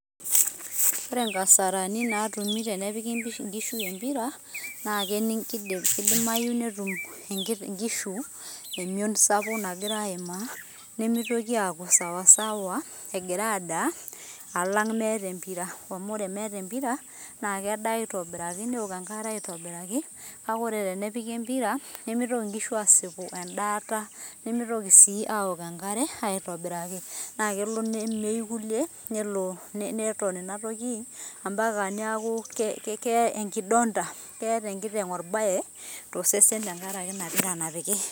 ore nkasarani naatui tenepiki nkishu empira, naa kidimayu, netum inkishu eion sapuk nagira aimaa, nemeitoki aaku sawasawa egira adaa alang' meeta empira, amu ore meeta empira naa kedaa aitobiraki, neok enkare aitobiraki, kake tenedaa eeta nemeitoki aanya nkujit aitobiraki, nemeitoki aaok enkare aitobiraki. naa kelo nemeyu kulie, neton ina toki neeku keeta enkiteng' orbae tenkaraki ina pira.